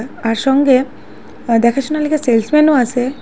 আর সঙ্গে আঃ দেখাশোনার লগে সেলস ম্যানও আসে ।